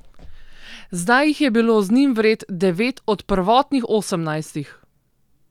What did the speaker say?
Zdaj jih je bilo, z njim vred, devet od prvotnih osemnajstih.